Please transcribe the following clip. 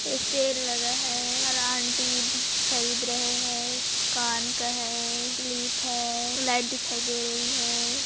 Cell लगा है aunty खरीद रहे है कान का है क्लिप है लाइट दिखाई दे रही है।